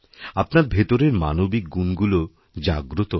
আপনার ভেতরের মানবিক গুণগুলো জাগ্রত হবে